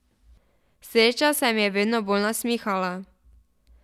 Sreča se mi je vedno bolj nasmihala.